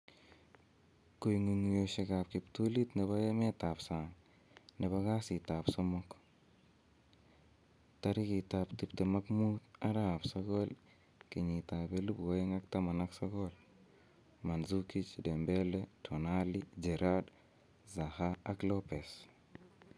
Kong'ung'uyosiekab kiptulit nebo emetab sang nebo kasitab somok 25/09/2019: Mandzuki, Dembele, Tonali, Gerrard, Zaha, Lopes